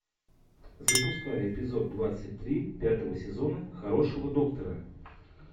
запускай эпизод двадцать три пятого сезона хорошего доктора